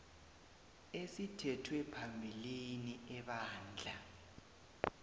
esithethwe phambilini ebandla